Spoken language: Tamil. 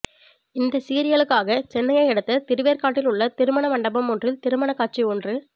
இந்த சீரியலுக்காக சென்னையை அடுத்த திருவேற்காட்டில் உள்ள திருமண மண்டபம் ஒன்றில் திருமணக் காட்சி ஒன்று